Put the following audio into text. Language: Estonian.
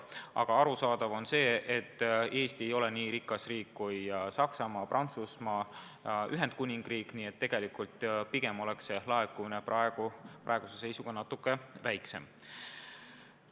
Aga muidugi on arusaadav, et Eesti ei ole nii rikas riik kui Saksamaa, Prantsusmaa või Ühendkuningriik, nii et pigem oleks see laekumine praeguse seisuga natuke väiksem.